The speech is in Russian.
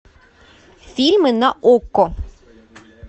фильмы на окко